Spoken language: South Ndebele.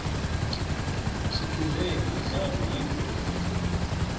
sithumbe imidlalo yethu yoke